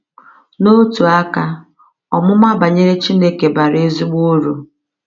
N’otu aka, ọmụma banyere Chineke bara ezigbo uru.